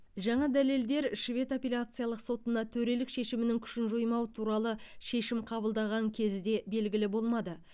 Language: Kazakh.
жаңа дәлелдер швед апелляциялық сотына төрелік шешімінің күшін жоймау туралы шешім қабылдаған кезде белгілі болмады